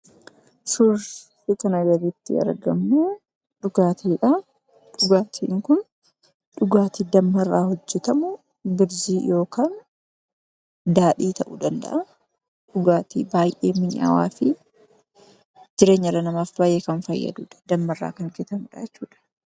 Suurri kanaa gaditti argamu kun dhugaatiidhaa. Dhugaatiin kun dhugaatii maqaansaa birzii yookiin daadhii ta'uu danda'a dhugaatii baay'ee mi'aawaa fi jireenya dhala namaaf kan baayee fayyadu dammarraa kan hojjatamudha.